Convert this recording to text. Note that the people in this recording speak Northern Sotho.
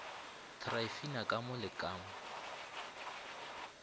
tryphina ka mo le ka